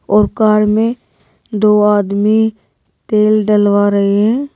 और कार में दो आदमी तेल डलवा रहे हैं।